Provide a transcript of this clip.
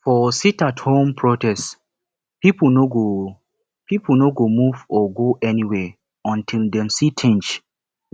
for sitathome protest pipo no go pipo no go move or go anywhere until dem see change